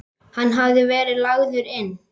Hann hafði verið lagður inn.